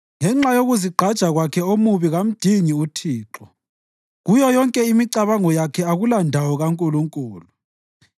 Ngenxa yokuzigqaja kwakhe omubi kamdingi uThixo; kuyo yonke imicabango yakhe akulandawo kaNkulunkulu.